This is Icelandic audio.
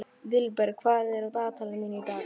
Vilberg, hvað er á dagatalinu mínu í dag?